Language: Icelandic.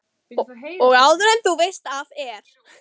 Og áður en þú veist af er